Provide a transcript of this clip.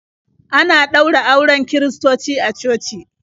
Ana ɗaura auren kiristoci a coci.